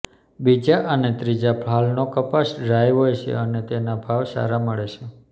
બીજા અને ત્રીજા ફાલનો કપાસ ડ્રાય હોય છે અને તેના ભાવ સારા મળે છે